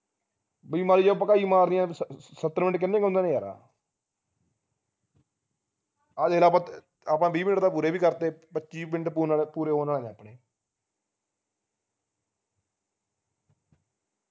B ਮਾੜੀ ਜੀ ਭਕਾਈ ਮਾਰੀ ਹੈ ਸੱਤਰ minute ਕਿੰਨੇ ਕਿ ਹੁੰਦੇ ਨੇ ਯਾਰਾ ਆਹ ਜਿਹੜਾ ਆਪਾ ਆਪਾ ਵੀਹ minute ਤਾ ਪੂਰੇ ਵੀ ਕਰਤੇ ਪੱਚੀ minute ਪੂਰੇ ਹੋਣ ਆਲੇ ਹੈ ਆਪਣੇ